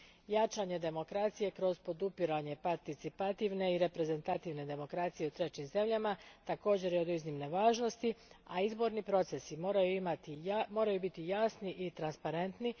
Jačanje demokracije kroz podupiranje participativne i reprezentativne demokracije u trećim zemljama također je od iznimne važnosti, a izborni procesi moraju biti jasni i transparentni.